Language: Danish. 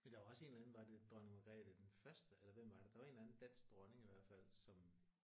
Men der er jo også en eller anden var det Dronning Margrethe den første eller hvem var det der var en eller anden dansk dronning i hvert fald som